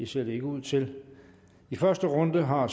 ser det ikke ud til i første runde har